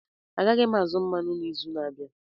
Agaghị m azụ mmanụ n'izu na-abịa